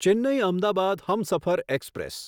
Chennai Ahmedabad Humsafar express